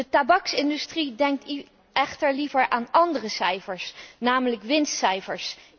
De tabaksindustrie denkt echter liever aan ándere cijfers, namelijk winstcijfers.